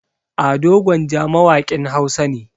Ado Gwanja mawaƙin Hausa ne.